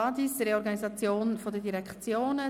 Quo vadis Reorganisation der Direktionen?